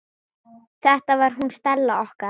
Þetta var hún Stella okkar.